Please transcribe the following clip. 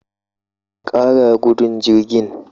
Ka kara gudun jirgin